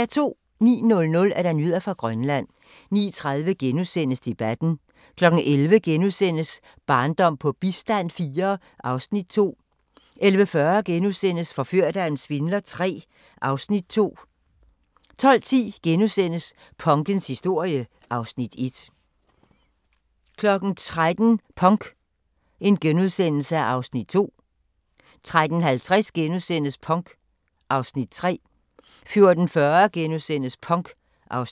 09:00: Nyheder fra Grønland 09:30: Debatten * 11:00: Barndom på bistand IV (Afs. 2)* 11:40: Forført af en svindler III (Afs. 2)* 12:10: Punkens historie (Afs. 1)* 13:00: Punk (Afs. 2)* 13:50: Punk (Afs. 3)* 14:40: Punk (Afs.